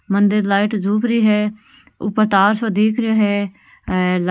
मंदिर लाइट जोप्रि है ऊपर तार सो दिख रो है और ऐ--